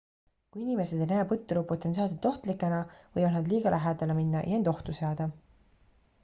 kui inimesed ei näe põtru potentsiaalselt ohtlikena võivad nad liiga lähedale minna ja end ohtu seada